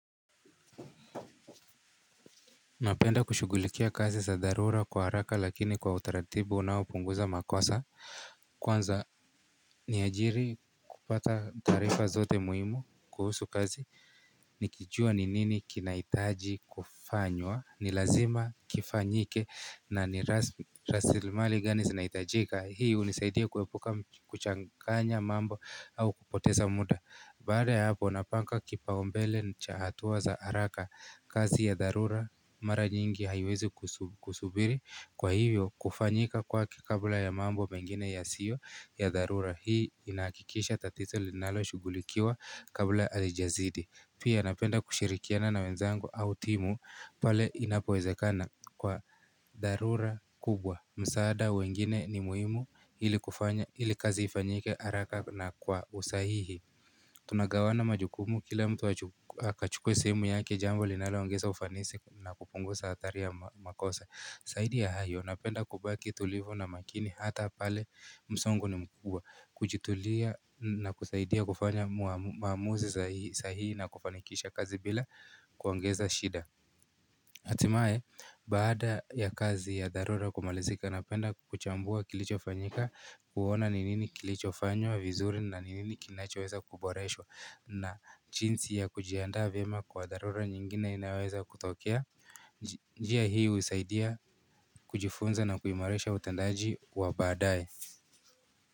Napenda kushugulikia kazi za dharura kwa haraka lakini kwa utaratibu unaopunguza makosa kwanza ni ajiri kupata taarifa zote muhimu kuhusu kazi Nikijua ni nini kinahitaji kufanywa ni lazima kifanyike na ni rasimali gani zinahitajika Hii hunisaidia kuepuka kuchanganya mambo au kupoteza muda Baada ya hapo napanga kipaumbele cha hatua za haraka kazi ya dharura mara nyingi haiwezi kusubiri kwa hivyo kufanyika kwake kabla ya mambo mengine yasio ya dharura hii inahakikisha tatito linalo shugulikiwa kabla halijazidi Pia napenda kushirikiana na wenzangu au timu pale inapowezekana kwa dharura kubwa msaada wa wengine ni muhimu ili kufanya ili kazi ifanyike haraka na kwa usahihi Tunagawana majukumu kila mtu akachukue sehemu yake jambo linalo ongeza ufanisi na kupunguza hatari ya makosa zaidi ya hayo napenda kubaki tulivu na makini hata pale msongo ni mkubwa Kujitulia na kusaidia kufanya maamuzi sahihi na kufanikisha kazi bila kuongeza shida hatimaye baada ya kazi ya dharura kumalizika napenda kuchambua kilicho fanyika kuona ni nini kilichofanywa vizuri na ni nini kinachoweza kuboreshwa na jinsi ya kujiandaa vyema kwa dharura nyingine inayoweza kutokea njia hii husaidia kujifunza na kuimarisha utendaji wa baadaye.